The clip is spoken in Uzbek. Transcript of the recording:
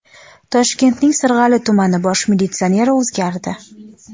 Toshkentning Sirg‘ali tumani bosh militsioneri o‘zgardi.